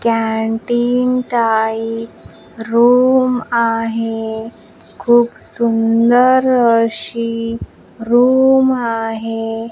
Canteen type room आहे खूप सुंदर अशी रूम आहे.